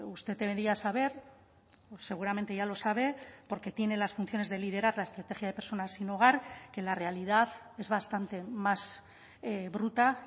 usted debería saber seguramente ya lo sabe porque tiene las funciones de liderar la estrategia de personas sin hogar que la realidad es bastante más bruta